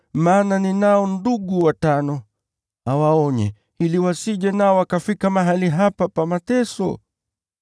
maana ninao ndugu watano. Awaonye, ili wasije nao wakafika mahali hapa pa mateso.’